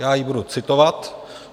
Já ji budu citovat.